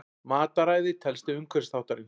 Mataræði telst til umhverfisþáttarins.